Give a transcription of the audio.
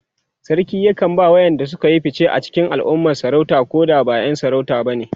sarki yakan ba ma waƴanda Suka Yi fice a cikin alumma sarauta Koda ba ƴan sarauta bane